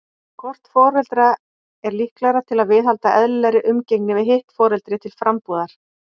Hvort foreldra er líklegra til að viðhalda eðlilegri umgengni við hitt foreldri til frambúðar?